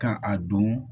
Ka a don